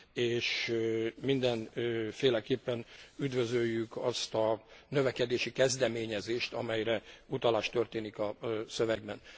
és mindenféleképpen üdvözöljük azt a növekedési kezdeményezést, amelyre utalás történik a szövegben.